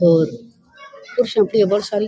और कुर्सियां पड़ी है बहोत सारी।